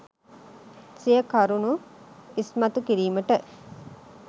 සිය කරුණු ඉස්මතු කිරීමට